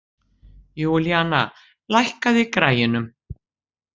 Júlíanna, lækkaðu í græjunum.